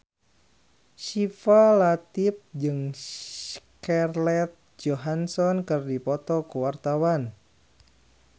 Syifa Latief jeung Scarlett Johansson keur dipoto ku wartawan